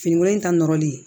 Finikolon in ta nɔrɔlen